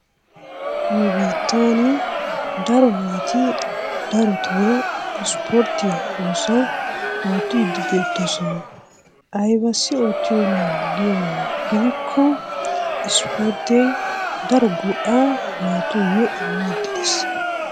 Nu biittaani daro naati dartoo ispporttiya oosuwa oottiidi beetoosona. Aybissi oottioyoona giyo mala gidikko ispporttee daro go'aa naatuyo immiidi de'ees.